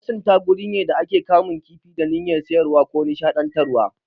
Masunta guri ne da ake kamun kifi da niyyyar sayarwa ko nishaɗantarwa.